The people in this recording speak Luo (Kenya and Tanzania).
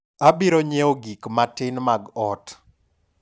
abiro nyiewo gik matin mag ot